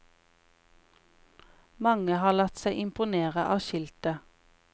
Mange har latt seg imponere av skiltet.